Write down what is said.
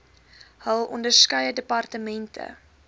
hul onderskeie departemente